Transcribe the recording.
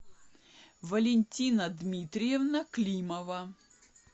валентина дмитриевна климова